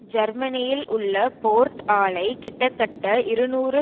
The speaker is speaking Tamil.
ஜெர்மனியில் உள்ள போர்ட் ஆலை கிட்டத்தட்ட இருநூறு